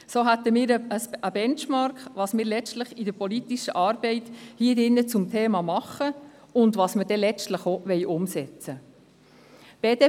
So hätten wir einen Benchmark, der zeigt, was wir letztlich in der politischen Arbeit hier zum Thema machen und letztlich auch umsetzen wollen.